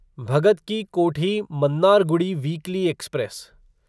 Bhagat Ki Kothi Mannargudi weekly express